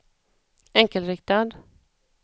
enkelriktad